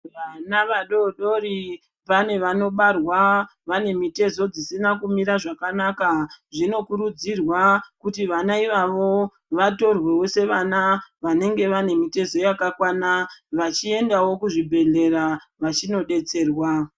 Vana vadodori vane vanobarwa vanemitezo dzisina kumira zvakanaka. Zvinokurudzirwa kuti vana ivavo vatorwewo sevana vanenge vanemitezo yakakwana vachiendawo kuzvibhedhlera vachinodetserwa.